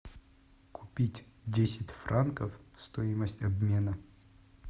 купить десять франков стоимость обмена